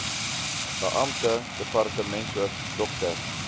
beampte departementshoof dr